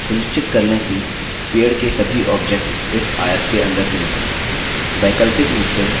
सुनिश्चित कर लें कि पेड़ के सभी objects इस आयत के अंदर चुनित हों